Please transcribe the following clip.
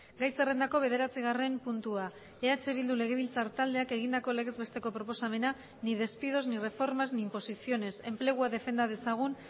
gai zerrendako bederatzigarren puntua eh bildu legebiltzar taldeak egindako legez besteko proposamena ni despidos ni reformas ni imposiciones enplegua defenda dezagun